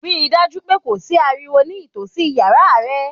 Rí dájú pé kò sí ariwo ní ìtòsí yàrá ẹ.